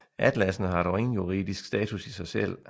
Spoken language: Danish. Atlassene har dog ingen juridisk status i sig selv